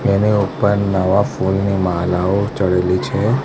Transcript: એની ઉપર નવા ફૂલની માળાઓ ચડેલી છે.